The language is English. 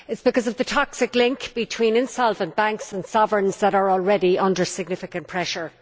It is because of the toxic link between insolvent banks and sovereign states that are already under significant pressure.